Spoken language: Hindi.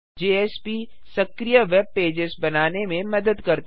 जेएसपी सक्रिय वेबपेजेस बनाने में मदद करता है